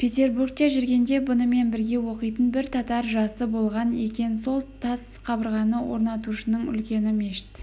петербургте жүргенде бұнымен бірге оқитын бір татар жасы болған екен сол тас қабырғаны орнатушының үлкені мешіт